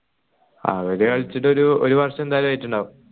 അവരെ കളിച്ചിട്ട് ഒരു ഒരു വർഷ എന്തായാലും ആയിട്ടുണ്ടാവും